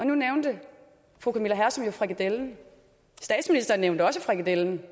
nu nævnte fru camilla hersom frikadellen statsministeren nævnte også frikadellen